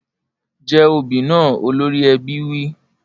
Jẹ obì náà! Olórí ẹbí wí.